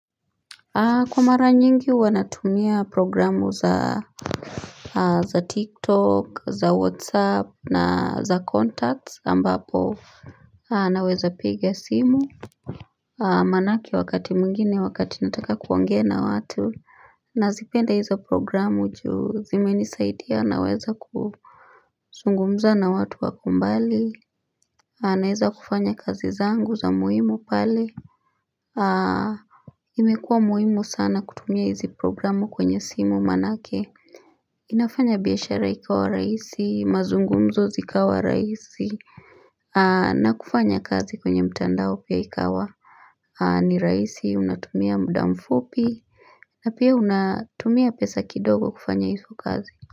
Kwa mara nyingi huwa natumia programu za tiktok za whatsapp na za contacts ambapo Naweza piga simu Manake wakati mwingine wakati nataka kuongea watu nazipenda hiza programu juu zimenisaidia naweza kuzungumza na watu wako mbali Naweza kufanya kazi zangu za muhimu pale aah imekua muhimu sana kutumia hizi programu kwenye simu manake inafanya biashara ikawa rahisi, mazungumzo zikawa rahisi na kufanya kazi kwenye mtandao pia ikawa ni rahisi unatumia muda mfupi na pia unatumia pesa kidogo kufanya hizo kazi.